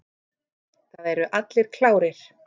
Það eru allir klárir.